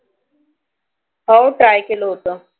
हो Try केलं होत